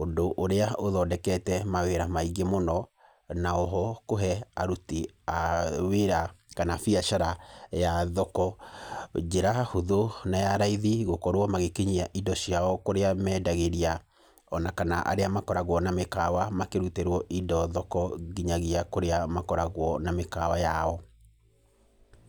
ũndũ ũrĩa ũthondekete mawĩra maingĩ mũno, na oho kũhe aruti a wĩra, kana biacara ya thoko, njĩra hũthũ na ya raithi gũkorwo magĩkinyia indo ciao kũrĩa mendagĩria, ona kana arĩa makoragwo na mĩkawa makĩrutĩrwo indo thoko nginyagia kũrĩa makoragwo na mĩkawa yao.